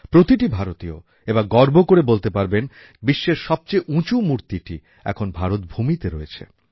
প্রতিটি ভারতীয় এবার গর্ব করে বলতে পারবেন যে বিশ্বের সবচেয়ে উঁচু মূর্তিটি এখন ভারতভূমিতে রয়েছে